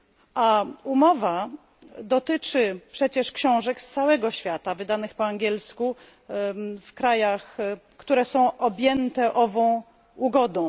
A umowa dotyczy przecież książek z całego świata wydanych po angielsku w krajach, które są objęte ową ugodą.